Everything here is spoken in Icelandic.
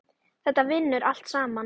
Þetta vinnur allt saman.